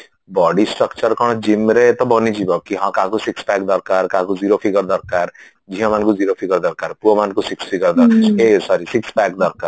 body structure କଣ gymରେ ବନିଯିବ କି ହଁ କାହାକୁ six pack ଦରକାର କାହାକୁ zero figure ଦରକାର ଝିଅମାନଙ୍କୁ zero figure ଦରକାର ପୁଅମାନଙ୍କୁ six figure ଦରକାର ଏ sorry six pack ଦରକାର